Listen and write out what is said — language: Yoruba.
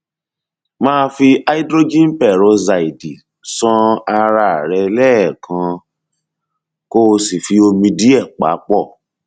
máa fi hydrogenperoxide ṣan ara rẹ lẹẹkan kó o sì fi omi díẹ pa pọ